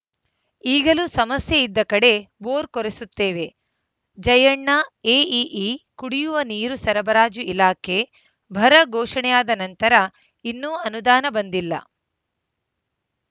ಈಗಲೂ ಸಮಸ್ಯೆ ಇದ್ದ ಕಡೆ ಬೋರ್‌ ಕೊರೆಸುತ್ತೇವೆ ಜಯಣ್ಣ ಎಇಇ ಕುಡಿಯುವ ನೀರು ಸರಬರಾಜು ಇಲಾಖೆ ಬರ ಘೋಷಣೆಯಾದ ನಂತರ ಇನ್ನೂ ಅನುದಾನ ಬಂದಿಲ್ಲ